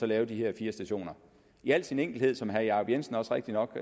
lave de her fire stationer i al sin enkelhed som herre jacob jensen rigtigt nok